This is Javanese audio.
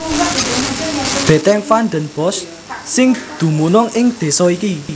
Bètèng Van den Bosch sing dumunung ing désa iki